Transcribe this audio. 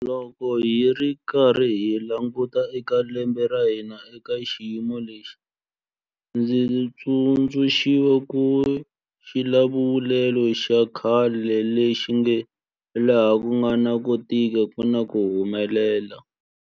Loko hi karhi hi languta eka lembe ra hina eka xiyimo lexi, ndzi tsundzuxiwa hi xivulavulelo xa khale lexi nge 'laha ku nga na ku tika ku na ku humelela'.